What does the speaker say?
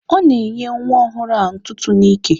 Ọ na-enye nwa ọhụrụ ahụ ntụtụ n'ike.